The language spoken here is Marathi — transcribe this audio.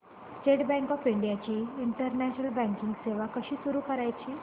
स्टेट बँक ऑफ इंडिया ची इंटरनेट बँकिंग सेवा कशी सुरू करायची